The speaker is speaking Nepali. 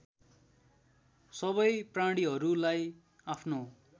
सबै प्राणीहरूलाई आफ्नो